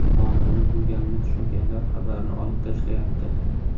Qonunni buzganini tushunganlar xabarni olib tashlayapti.